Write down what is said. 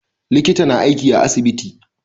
Likita na aiki a asibiti